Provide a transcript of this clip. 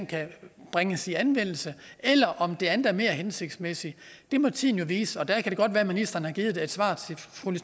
kan bringes i anvendelse eller om det andet er mere hensigtsmæssigt det må tiden jo vise det kan godt være at ministeren har givet et svar